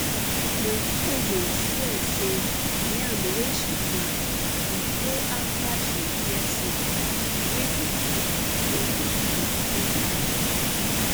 my cousin swear say yam wey she plant e grow after she hear song wey dey put pikin to sleep for night